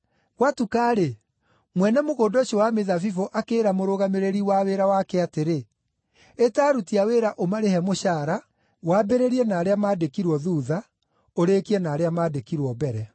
“Gwatuka-rĩ, mwene mũgũnda ũcio wa mĩthabibũ akĩĩra mũrũgamĩrĩri wa wĩra wake atĩrĩ, ‘Ĩta aruti a wĩra ũmarĩhe mũcaara, wambĩrĩirie na arĩa maandĩkirwo thuutha, ũrĩkie na arĩa maandĩkirwo mbere.’